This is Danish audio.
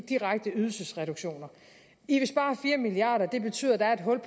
direkte ydelsesreduktioner i vil spare fire milliard kr og det betyder at der er et hul